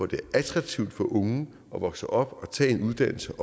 det er attraktivt for unge at vokse op og tage en uddannelse